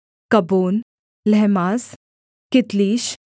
कब्बोन लहमास कितलीश